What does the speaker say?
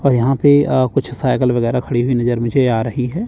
और यहां पे अ कुछ साइकिल वगैरा खड़ी हुई नजर मुझे आ रही है।